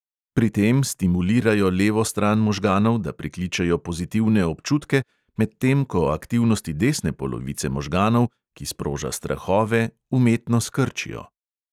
Pri tem stimulirajo levo stran možganov, da prikličejo pozitivne občutke, medtem ko aktivnosti desne polovice možganov, ki sproža strahove, umetno skrčijo.